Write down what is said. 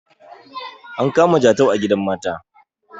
an kama jatau a gidan mata